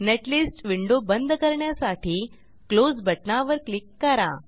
netlist window बंद करण्यासाठी close बटणावर क्लिक करा